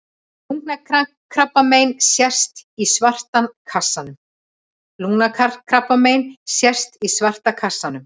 Lungnakrabbamein sést í svarta kassanum.